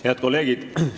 Head kolleegid!